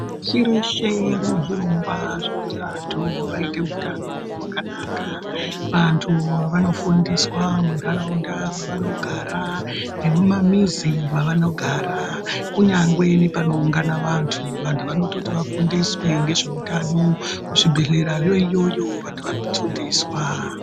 Pashi reshe rinezvirongwa zvekuti vantu vaite utano hwakanaka. Vantu vanofundiswa mumantaraunda maanogara nemumamizi maanogara kunyangwe nepanoungana vantu, vantu vanototi vafundiswe ngezveutano kuzvibhedhlerayo iyoyo vantu vanofundiswa.